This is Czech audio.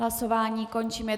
Hlasování končím.